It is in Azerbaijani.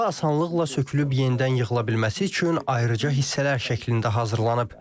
Qala asanlıqla sökülüb yenidən yığıla bilməsi üçün ayrıca hissələr şəklində hazırlanıb.